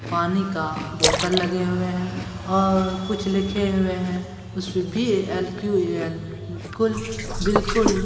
पानी का बोतल लगे हुए हैं और कुछ लिखे हुए है बिल्कुल ।